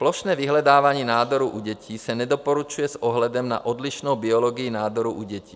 Plošné vyhledávání nádorů u dětí se nedoporučuje s ohledem na odlišnou biologii nádorů u dětí.